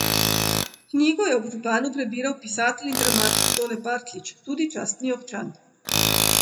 Knjigo je ob županu prebiral pisatelj in dramatik Tone Partljič, tudi častni občan.